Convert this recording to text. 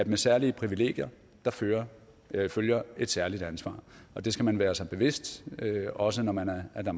med særlige privilegier følger følger et særligt ansvar og det skal man være sig bevidst også når man er